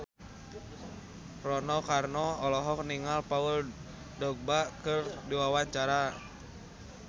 Rano Karno olohok ningali Paul Dogba keur diwawancara